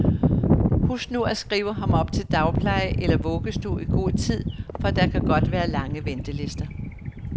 Husk nu at skrive ham op til dagpleje eller vuggestue i god tid, for der kan godt være lange ventelister.